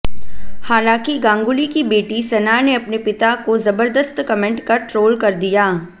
हालांकि गांगुली की बेटी सना ने अपने पिता को जबर्दस्त कमेंट कर ट्रोल कर दिया